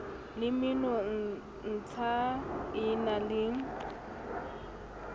le menontsha e na le